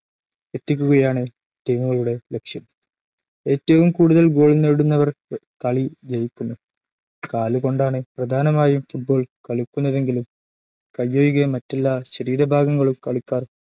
എത്തിക്കുകയാണ് ടീമുകളുടെ ലക്ഷ്യം. ഏറ്റവും കൂടുതൽ ഗോൾ നേടുന്നവർ കളി ജയിക്കുന്നു. കാലുകൊണ്ടാണു പ്രധാനമായും ഫുട്ബോൾ കളിക്കുന്നതെങ്കിലും കയ്യൊഴികെ മറ്റെല്ലാ ശരീര ഭാഗങ്ങളും കളിക്കാർ